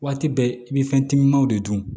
Waati bɛɛ i bɛ fɛn timimanw de dun